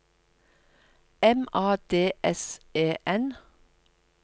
M A D S E N